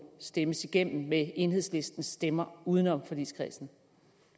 stemmes igennem med enhedslistens stemmer uden om forligskredsen